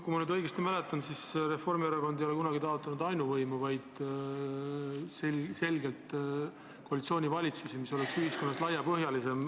Kui ma õigesti mäletan, siis Reformierakond ei ole kunagi taotlenud ainuvõimu, vaid selgelt koalitsioonivalitsusi, mis oleksid laiapõhjalisemad.